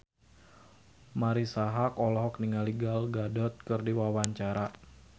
Marisa Haque olohok ningali Gal Gadot keur diwawancara